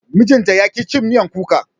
mijinta yaƙi cin miyar kuka